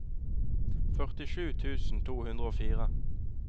førtisju tusen to hundre og fire